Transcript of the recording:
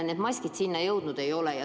Need maskid sinna jõudnud ei olnud.